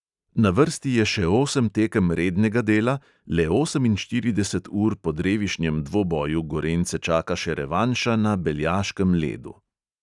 Na vrsti je še osem tekem rednega dela, le oseminštirideset ur po drevišnjem dvoboju gorenjce čaka še revanša na beljaškem ledu.